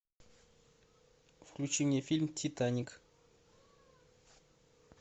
включи мне фильм титаник